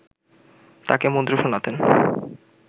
তাকে মন্ত্র শোনাতেন